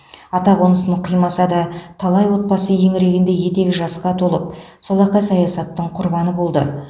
атақонысын қимаса да талай отбасы еңірегенде етегі жасқа толып солақай саясаттың құрбаны болды